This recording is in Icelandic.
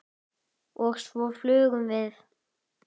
Og svo flugum við.